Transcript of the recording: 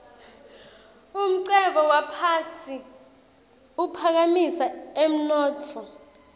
umcebo waphasi uphakamisa umnotfo